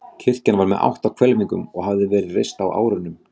Kirkjan var með átta hvelfingum og hafði verið reist á árunum